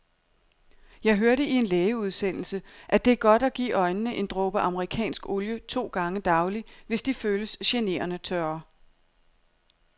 Jeg hørte i en lægeudsendelse, at det er godt at give øjnene en dråbe amerikansk olie to gange daglig, hvis de føles generende tørre.